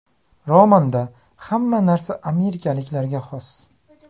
Romanda hamma narsa amerikaliklarga xos.